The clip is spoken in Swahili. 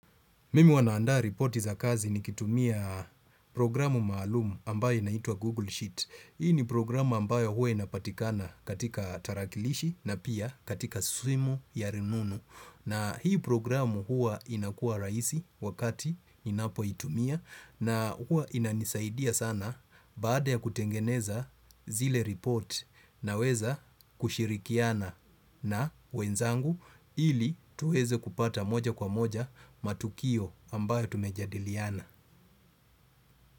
Mimi huwa nandaa ripoti za kazi ni kitumia programu maalumu ambayo inaitwa Google Sheet. Hii ni programu ambayo huwa inapatikana katika tarakilishi na pia katika simu ya rununu. Na hii programu huwa inakuwa raisi wakati ninapo itumia na huwa inanisaidia sana baada ya kutengeneza zile report naweza kushirikiana na wenzangu ili tuweze kupata moja kwa moja matukio ambayo tumejadiliana.